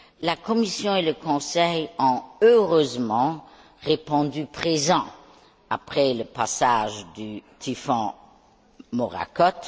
La Commission et le Conseil ont heureusement répondu présents après le passage du typhon Morakot.